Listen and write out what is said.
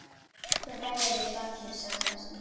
Þú hræðir barnið, sagði hún fastmælt.